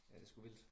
Ja det sgu vildt